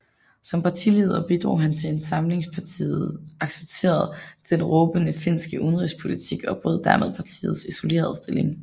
Som partileder bidrog han til at Samlingspartiet accepterede den rådende finske udenrigspolitik og brød dermed partiets isolerede stilling